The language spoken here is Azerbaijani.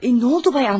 Nə oldu, cənab Andrey?